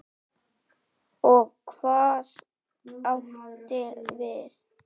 Og hvað áttu við?